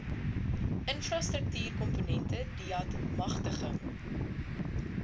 infrastruktuurkomponente deat magtiging